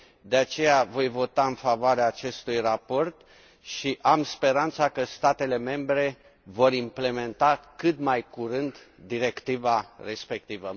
De aceea, voi vota în favoarea acestui raport și am speranța că statele membre vor implementa cât mai curând directiva respectivă.